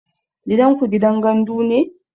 Gidanku gidan gandu ne?